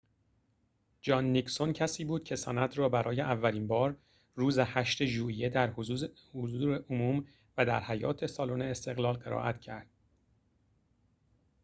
جان نیکسون کسی بود که سند را برای اولین بار روز ۸ ژوئیه در حضور عموم و در حیاط سالن استقلال قرائت کرد